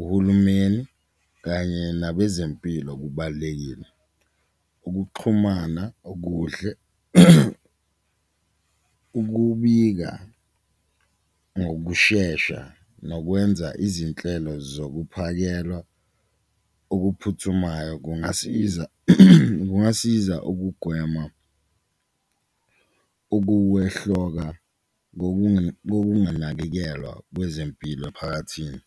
uhulumeni kanye nabezempilo kubalulekile, ukuxhumana okuhle, ukubika ngokushesha nokwenza izinhlelo zokuphakelwa okuphuthumayo kungasiza. Kungasiza ukugwema ukuwehloka kokunganakekelwa kwezempilo emphakathini.